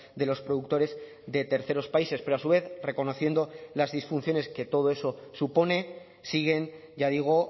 de los productores de terceros países pero a su vez reconociendo las disfunciones que todo eso supone siguen ya digo